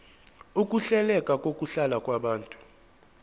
ukuhleleka kokuhlala kwabantu